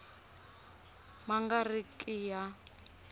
ma nga ri ki ya